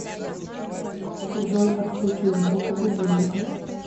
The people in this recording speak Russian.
джой отключи звук у будильника